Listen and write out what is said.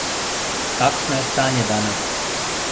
Kakšno je stanje danes?